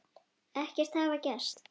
Ekkert hafi gerst.